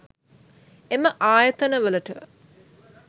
එම ආයතන වලට